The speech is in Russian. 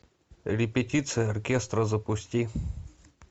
репетиция оркестра запусти